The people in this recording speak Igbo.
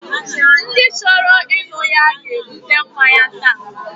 Ndi choro innu ya ga ebute mmanya ta